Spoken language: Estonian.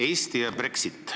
Eesti ja Brexit.